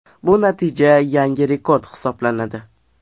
Bu natija yangi rekord hisoblanadi .